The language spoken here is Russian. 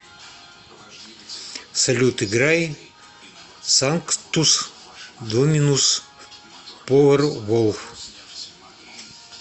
салют играй санктус доминус поверволф